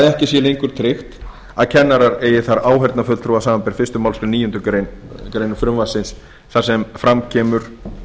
ekki sé lengur tryggt að kennarar eigi þar áheyrnarfulltrúa samanber fyrstu málsgrein níundu grein frumvarpsins þar sem fram kemur